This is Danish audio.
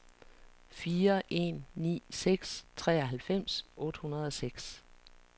fire en ni seks treoghalvfems otte hundrede og seks